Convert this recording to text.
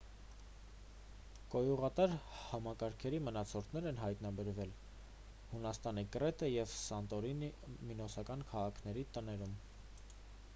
կոյուղատար համակարգերի մնացորդներ են հայտնաբերվել հունաստանի կրետե և սանտորինի մինոսական քաղաքների տներում